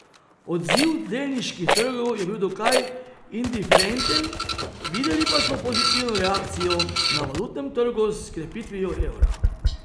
Odziv delniških trgov je bil dokaj indiferenten, videli pa smo pozitivno reakcijo na valutnem trgu s krepitvijo evra.